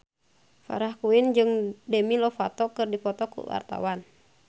Farah Quinn jeung Demi Lovato keur dipoto ku wartawan